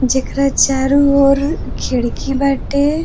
जेकरा चारों ओर खिड़की बाटे।